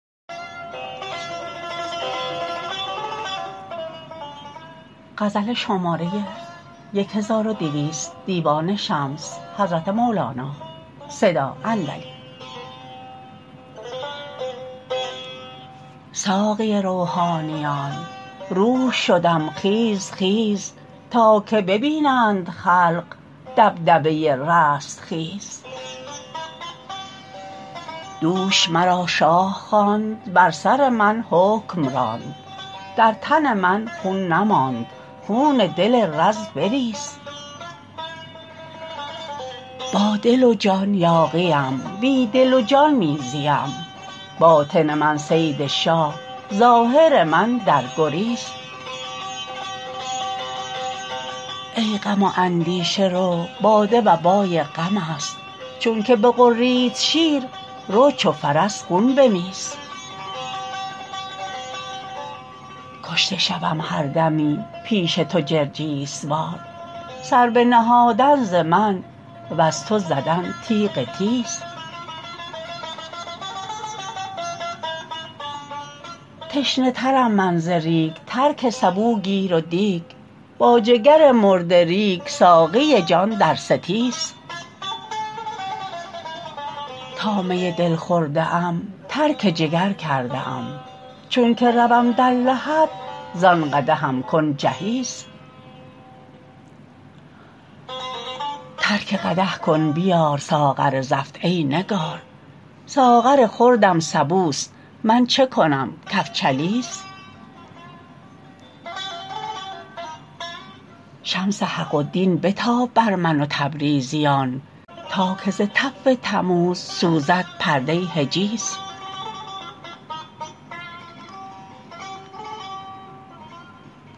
ساقی روحانیان روح شدم خیز خیز تا که ببینند خلق دبدبه رستخیز دوش مرا شاه خواند بر سر من حکم راند در تن من خون نماند خون دل رز بریز با دل و جان یاغیم بی دل و جان می زیم باطن من صید شاه ظاهر من در گریز ای غم و اندیشه رو باده و بای غمست چونک بغرید شیر رو چو فرس خون بمیز کشته شوم هر دمی پیش تو جرجیس وار سر بنهادن ز من وز تو زدن تیغ تیز تشنه ترم من ز ریگ ترک سبو گیر و دیگ با جگر مرده ریگ ساقی جان در ستیز تا می دل خورده ام ترک جگر کرده ام چونک روم در لحد زان قدحم کن جهیز ترک قدح کن بیار ساغر زفت ای نگار ساغر خردم سبوست من چه کنم کفجلیز شمس حق و دین بتاب بر من و تبریزیان تا که ز تف تموز سوزد پرده حجیز